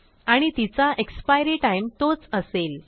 आणि तिचा expiry time तोच असेल